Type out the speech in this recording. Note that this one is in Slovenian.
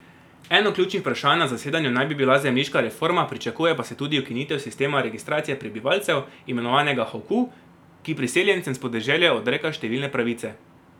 Eno ključnih vprašanj na zasedanju naj bi bila zemljiška reforma, pričakuje pa se tudi ukinitev sistema registracije prebivalcev, imenovanega hukou, ki priseljencem s podeželja odreka številne pravice.